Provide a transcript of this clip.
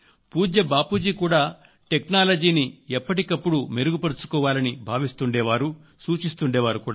పూజ్య బాపూజీ కూడా టెక్నాలజీని ఎప్పటికప్పుడు మెరుగుపర్చుకోవాలని భావిస్తుండే వారు సూచిస్తుండే వారు